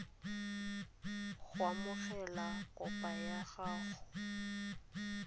go amogela kopo ya gago